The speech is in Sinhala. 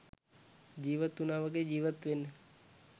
ජීවත් උනා වගේ ජීවත් වෙන්න .